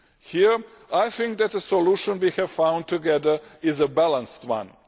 Here I think that the solution we have found together is a balanced one.